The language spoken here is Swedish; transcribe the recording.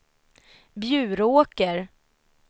Bjuråker